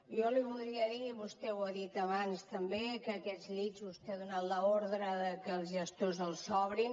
jo li voldria dir i vostè ho ha dit abans també que aquests llits vostè ha donat l’ordre que els gestors els obrin